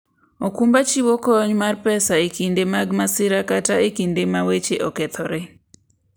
okumba chiwo kony mar pesa e kinde mag masira kata e kinde ma weche okethore.